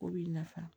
O b'i nafa